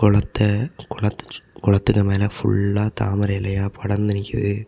கொளத்தே கொளத்தெ சுத் கொளத்துக்கு மேல ஃபுல்லா தாமரை இலையா படர்ந்து நிக்குது.